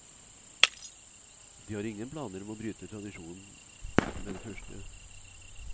De har ingen planer om å bryte tradisjonen med det første.